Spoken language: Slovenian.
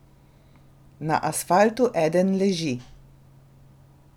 Na asfaltu eden leži.